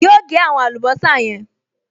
Yóò gẹ́ àwọn àlùbọ́sà yẹn